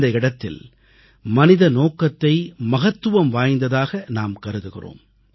இந்த இடத்தில் மனித நோக்கத்தை மகத்துவம் வாய்ந்ததாக நாம் கருதுகிறோம்